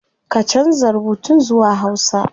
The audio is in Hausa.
Ka canza rubutun zuwa hausa